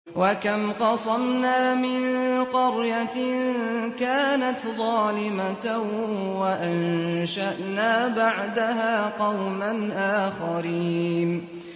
وَكَمْ قَصَمْنَا مِن قَرْيَةٍ كَانَتْ ظَالِمَةً وَأَنشَأْنَا بَعْدَهَا قَوْمًا آخَرِينَ